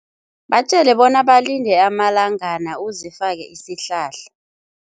Batjele bona balinde amalangana uzifake isihlahla.